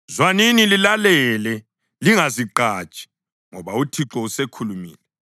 Zwanini lilalele, lingazigqaji, ngoba uThixo usekhulumile.